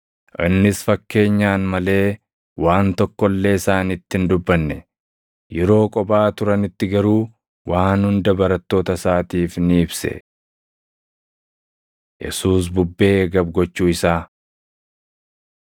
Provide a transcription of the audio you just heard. Innis fakkeenyaan malee waan tokko illee isaanitti hin dubbanne. Yeroo kophaa turanitti garuu waan hunda barattoota isaatiif ni ibse. Yesuus Bubbee Gab Gochuu Isaa 4:35‑41 kwf – Mat 8:18,23‑27; Luq 8:22‑25